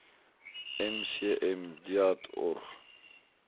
mcm deat org